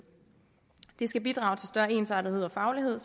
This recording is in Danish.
det skal bidrage til større ensartethed og faglighed